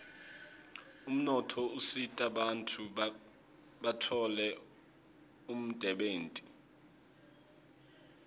umnotfo usita bantfu batfole umdebenti